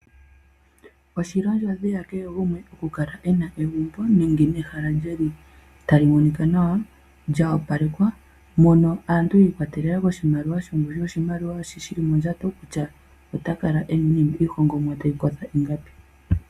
Oshili ondjodhi yakehe gumwe okukala e na egumbo, nenge ehala lyili tali monika nawa, lya opalekwa, mono aantu yi ikwatelela kongushu yoshimaliwa shi shili modjato, kutya ota kala e na iinima tayi kotha ingapi.